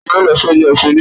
ta ni yíò lọ sí ọjà èso níọ̀lá